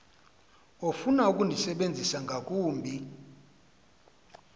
ofuna ukundisebenzisa ngakumbi